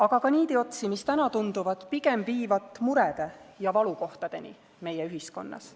Aga ka niidiotsi, mis täna tunduvad pigem viivat murede ja valukohtadeni meie ühiskonnas.